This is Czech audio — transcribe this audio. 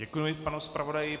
Děkuji panu zpravodaji.